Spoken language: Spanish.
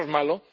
¿Eso es